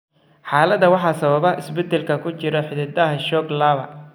Xaaladda waxaa sababa isbeddellada ku jira hiddaha SHOC lawa.